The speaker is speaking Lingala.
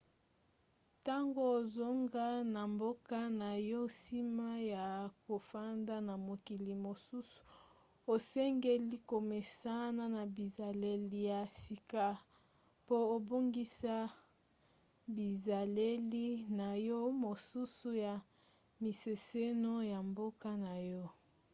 ntango ozonga na mboka na yo nsima ya kofanda na mokili mosusu osengeli komesana na bizaleli ya sika po obungisa bizaleli na yo mosusu ya mimeseno ya mboka na yo